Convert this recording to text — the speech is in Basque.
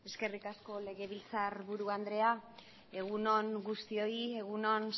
eskerrik asko legebiltzarburu andrea egun on guztioi egun on